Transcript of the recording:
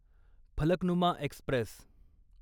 Falaknuma Express